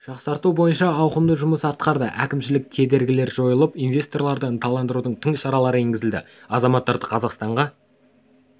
жақсарту бойынша ауқымды жұмыс атқарды әкімшілік кедергілер жойылып инвесторларды ынталандырудың тың шаралары енгізілді азаматтары қазақстанға